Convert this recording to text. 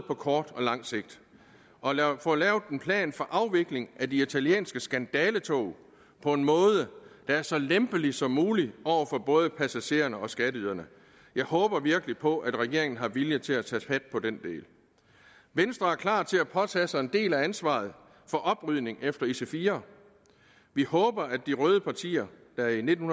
på kort og lang sigt og lad os få lavet en plan for afvikling af de italienske skandaletog på en måde der er så lempelig som mulig for både passagererne og skatteyderne jeg håber virkelig på at regeringen har viljen til at tage fat på den del venstre er klar til at påtage sig en del af ansvaret for oprydningen efter ic4 vi håber at de røde partier der i nitten